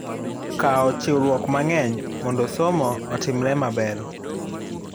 Kawo chiwruok mang'eny mondo somo otimre maber.